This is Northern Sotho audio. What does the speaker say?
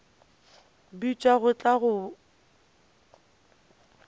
bitšwa go tla go boga